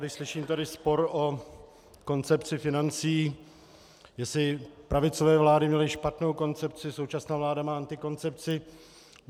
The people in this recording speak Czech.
Když slyším tady spor o koncepci financí, jestli pravicové vlády měly špatnou koncepci, současná vláda má antikoncepci...